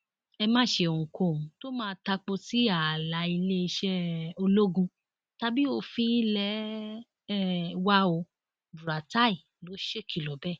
ẹ má ṣe ohunkóhun tó máa tapo sí ààlà iléeṣẹ um ológun tàbí òfin ilé um wa ò buratai ló ṣèkìlọ bẹẹ